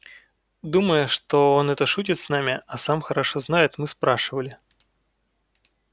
думая что он это шутит с нами а сам хорошо знает мы спрашивали